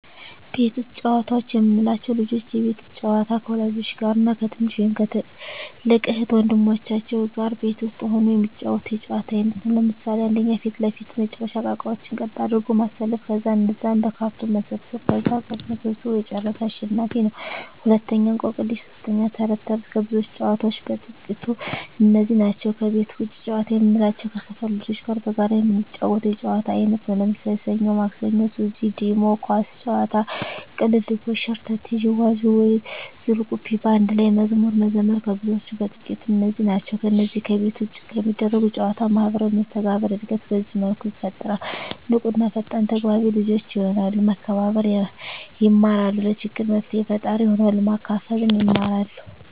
ቤት ውስጥ ጨዋታዎች የምንላቸው፦ ልጆች የቤት ውስጥ ጨዋታ ከወላጆች ጋር እና ከትንሽ ወይም ከትልቅ እህት ወንድሞቻቸው ጋር ቤት ውስጥ ሁነው የሚጫወቱት የጨዋታ አይነት ነው። ለምሣሌ 1. ፊት ለፊት መጫዎቻ እቃቃዎችን ቀጥ አድርጎ ማሠለፍ ከዛ እነዛን በካርቶን መሰብሠብ ከዛ ቀድሞ ሠብስቦ የጨረሠ አሸናፊ ነው፤ 2. እቆቅልሽ 3. ተረት ተረት ከብዙዎች ጨዋታዎች በጥቃቱ እነዚህ ናቸው። ከቤት ውጭ ጨዋታ የምንላቸው ከሠፈር ልጆች ጋር በጋራ የምንጫወተው የጨዋታ አይነት ነው። ለምሣሌ፦ ሠኞ ማክሠኞ፤ ሱዚ፤ ዲሞ፤ ኳስ ጨዋታ፤ ቅልልቦሽ፤ ሸርተቴ፤ ዥዋዥዌ፤ ዝልቁብ፤ በአንድ ላይ መዝሙር መዘመር ከብዙዎቹ በጥቂቱ እነዚህ ናቸው። ከነዚህ ከቤት ውጭ ከሚደረጉ ጨዎች ማህበራዊ መስተጋብር እድገት በዚህ መልኩ ይፈጠራል። ንቁ እና ፈጣን ተግባቢ ልጆች የሆናሉ፤ መከባበር የማራሉ፤ ለችግር መፍትሔ ፈጣሪ ይሆናሉ፤ ማካፈልን ይማራ፤